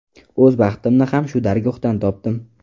O‘z baxtimni ham shu dargohdan topdim.